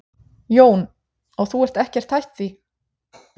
Jón: Og þú ert ekkert hætt því?